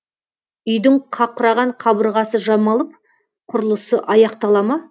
үйдің қақыраған қабырғасы жамалып құрылысы аяқтала ма